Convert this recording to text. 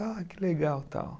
Ah, que legal e tal.